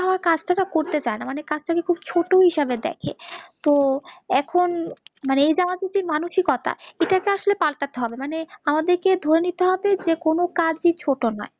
করতে চায় না, মানে কাজটা কে খুব ছোট হিসেবে দ্যাখে, তো এখন এই যে আমাদের মানসিকতা এটাকে আসলে পালটাতে হবে মানে আমাদের কে ধরে নিতে হবে